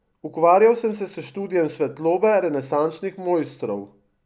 Ukvarjal sem se s študijem svetlobe renesančnih mojstrov.